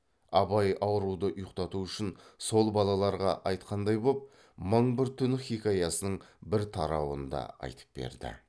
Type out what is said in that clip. абай ауруды ұйқтату үшін сол балаларға айтқан боп мың бір түн хикаясының бір тарауын да айтып берді